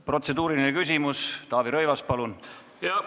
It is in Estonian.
Protseduuriline küsimus, Taavi Rõivas, palun!